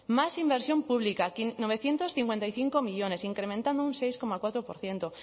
más inversión pública novecientos cincuenta y cinco millónes incrementando un seis coma cuatro por ciento